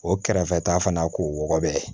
O kɛrɛfɛ ta fana k'o wɔgɔbɔ yen